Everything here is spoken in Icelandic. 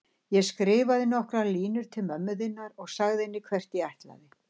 Ég skrifaði nokkrar línur til mömmu þinnar og sagði henni hvert ég ætlaði.